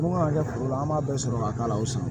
Mun kan ka kɛ foro la an b'a sɔrɔ ka k'a la o sa